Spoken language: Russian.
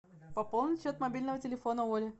пополнить счет мобильного телефона оли